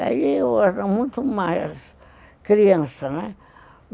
Aí eu era muito mais criança, né?